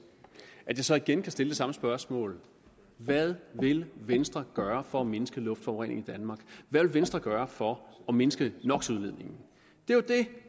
at jeg så igen kan stille det samme spørgsmål hvad vil venstre gøre for at mindske luftforureningen i danmark hvad vil venstre gøre for at mindske no det